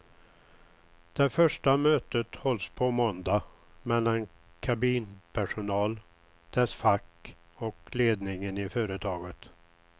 Det första mötet hålls på måndag mellan kabinpersonal, dess fack och ledningen i företaget.